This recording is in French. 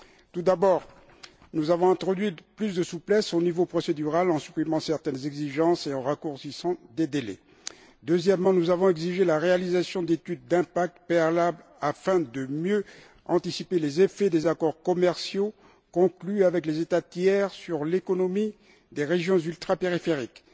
Tout d'abord, nous avons introduit plus de souplesse au niveau procédural en supprimant certaines exigences et en raccourcissant des délais. Deuxièmement, nous avons exigé la réalisation d'études d'impact préalables afin de mieux anticiper les effets des accords commerciaux conclus avec les États tiers sur l'économie des régions ultrapériphériques.